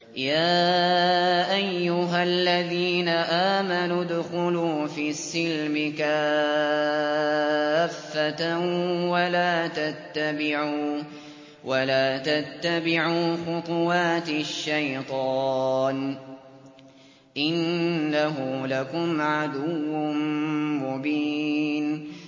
يَا أَيُّهَا الَّذِينَ آمَنُوا ادْخُلُوا فِي السِّلْمِ كَافَّةً وَلَا تَتَّبِعُوا خُطُوَاتِ الشَّيْطَانِ ۚ إِنَّهُ لَكُمْ عَدُوٌّ مُّبِينٌ